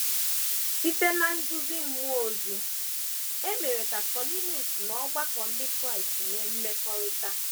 Site ná nduzi mmụọ ozi, e mere ka Kọniliọs na ọgbakọ ndị Kraịst nwee mmekọrịta.